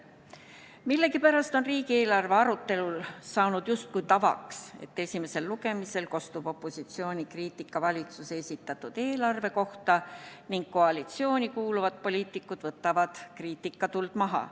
Millegipärast on riigieelarve arutelul saanud justkui tavaks, et esimesel lugemisel kostub opositsiooni kriitika valitsuse esitatud eelarve kohta ning koalitsiooni kuuluvad poliitikud võtavad kriitikatuld maha.